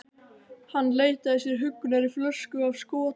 Hann leitaði sér huggunar í flösku af skota.